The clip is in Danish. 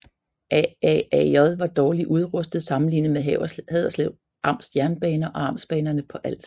AaAJ var dårligt udrustet sammenlignet med Haderslev Amts Jernbaner og Amtsbanerne på Als